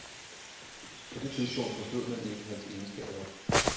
På det tidspunkt forstod man ikke hans egenskaber.